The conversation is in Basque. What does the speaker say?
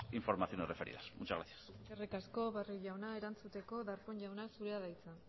informaciones referidas muchas gracias eskerrik asko barrio jauna erantzuteko darpón jauna zurea da hitza